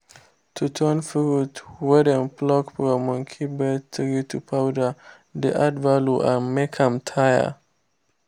to turn fruit wey dem pluck from monkey bread tree to powder dey add value and make am tey.